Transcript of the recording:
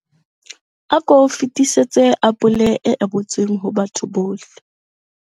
Ako fetisetse apole e ebotsweng ho batho bohle.